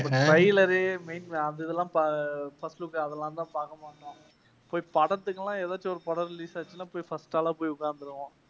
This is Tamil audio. trailer உ அந்த இதெல்லாம் first போயி அதெல்லாம் தான் பாக்கமாட்டோம். போயி படத்துக்குனா ஏதாச்சும் ஒரு படம் release ஆச்சுன்னா போயி first ஆளா போய் உட்கார்ந்திடுவோம்.